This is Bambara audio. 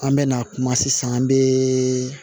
An bɛ na kuma sisan an bɛ